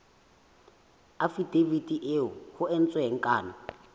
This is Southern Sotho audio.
afidaviti eo ho entsweng kano